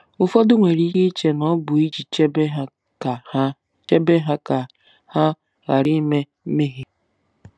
Ụfọdụ nwere ike iche na ọ bụ iji chebe ha ka chebe ha ka ha ghara ime mmehie.